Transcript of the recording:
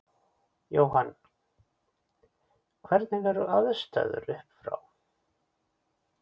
Jóhann: Hvernig eru aðstæður upp frá?